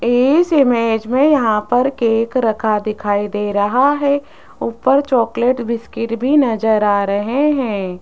इस इमेज में यहां पर केक रखा दिखाई दे रहा है ऊपर चॉकलेट बिस्किट भी नजर आ रहे हैं।